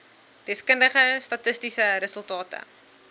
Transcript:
deskundige statistiese resultate